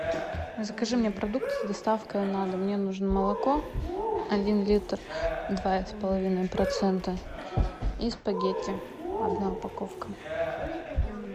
закажи мне продукты с доставкой на дом мне нужно молоко один литр два с половиной процента и спагетти одна упаковка